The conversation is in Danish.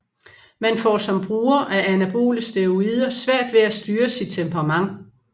Man får som bruger af anabole steroider svært ved at styre sit temperament